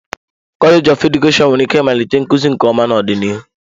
Kọleji of Edukeshọn nwere ike ịmalite nkuzi nke ọma n'ọdịnihu.